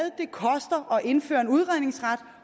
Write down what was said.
og indføre en udredningsret